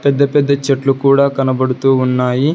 పెద్ద పెద్ద చెట్లు కూడా కనబడుతూ ఉన్నాయి.